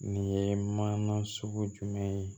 Nin ye mana sugu jumɛn ye